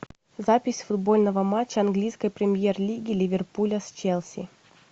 запись футбольного матча английской премьер лиги ливерпуля с челси